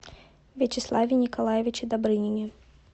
вячеславе николаевиче добрынине